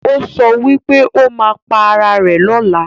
ọ so wípé ó má pá Àrà rẹ̀ lọla.